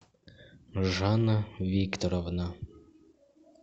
жанна викторовна